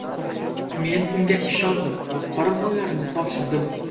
Men unga ishondim va qoramollarni topshirdim.